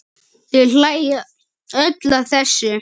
Þau hlæja öll að þessu.